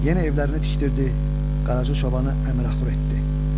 Yenə evlərini tikdirdi, Qaracı çobanı əməxur etdi.